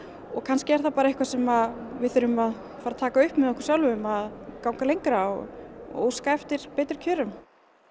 og kannski er það bara eitthvað sem við þurfum að fara að taka upp með okkur sjálfum að ganga lengra og óska eftir betri kjörum